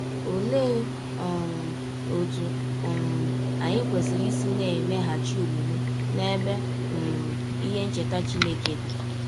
Ọlee um ọtụ um anyị kwesịrị isi na - emeghachi ọmụme n’ebe um ihe ncheta Chineke dị?